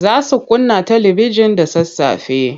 Za su kunna talibijin da sassafe.